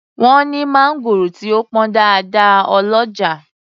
Wọ́n ní mangoro tí ó pọn dáadáa ọlọ́jà.